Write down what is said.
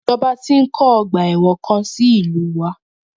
Ìjọba ti ń kọ́ ọgbà ẹ̀wọ̀n kan sí ìlúu wa.